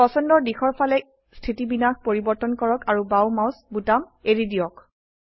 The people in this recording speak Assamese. পছন্দৰ দিশৰ ফালে স্থিতিবিন্যাস পৰিবৰ্তন কৰক আৰু বাও মাউস বোতাম এৰি দিয়ক